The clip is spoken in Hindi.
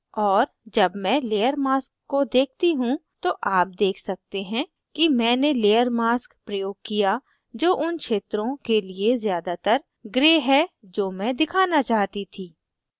और जब मैं layer mask को देखती हूँ तो आप देख सकते हैं कि मैंने layer mask प्रयोग किया जो उन क्षेत्रों के लिए ज़्यादातर gray है जो मैं दिखाना चाहती थी